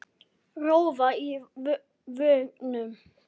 Rjóða í vöngum.